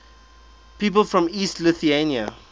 people from east lothian